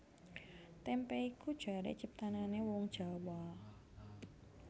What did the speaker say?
Témpé iku jaré ciptanané wong Jawa